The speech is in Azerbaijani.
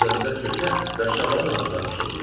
Evlərinin üzərində çökə və şabalad ağacları xışıltıdır.